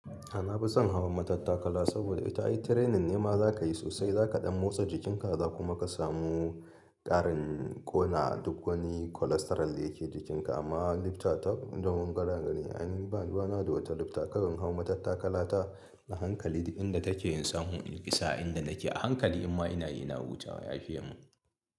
A' na finson hawan matattakala saboda ita ai training ne ma za ka yi sosai, za ka ɗan motsa jikinka, za kuma ka samu ƙarin ƙona duk wani cholesterol da yake jikinka. Amma lifta tak inda mun ga daga ni, ai ni baruwana da wata lifta. Kawai in hawan matattakala ta, a hankali duk inda take in samu in isa a'inda nake a hankali in ma ina yi ina hurawa yafiye mun.